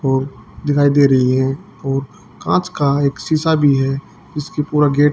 और दिखाई दे रही है और कांच का एक शीशा भी है जिसका पूरा गेट --